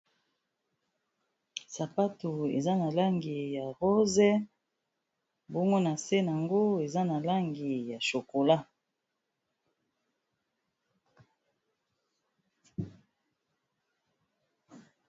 Sapatu eza na langi ya rose mbongo na se yango eza na langi ya chokola.